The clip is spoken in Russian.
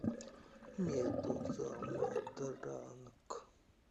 медуза матранг